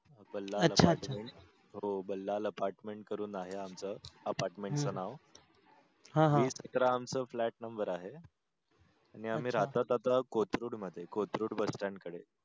Bhalla apartment हो भाल्लल apartment करून आहे आमच apartment च नाव हा हा वीस अठरा आमच flat number आहे आणि आम्ही रहतो आता कोथरूड मध्ये कोथरूड bus stand कडे